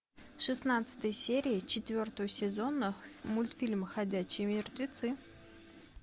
шестнадцатая серия четвертого сезона мультфильма ходячие мертвецы